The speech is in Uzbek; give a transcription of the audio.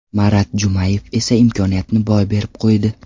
Marat Jumayev esa imkoniyatni boy berib qo‘ydi.